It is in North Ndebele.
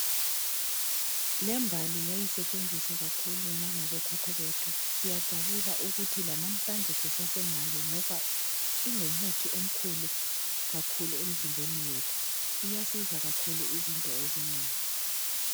Lembali yayisetshenziswa kakhulu langabo khokho bethu siyathokoza ukuthi lanamhlanje sisaselayo ngoba ingumuthi omkhulu kakhulu emzimbeni yethu iyanceda kakhulu izinto ezinengi.